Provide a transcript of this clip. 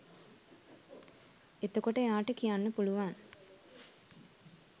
එතකොට එයාට කියන්න පුලුවන්